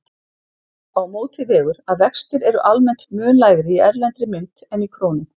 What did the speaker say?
Á móti vegur að vextir eru almennt mun lægri í erlendri mynt en í krónum.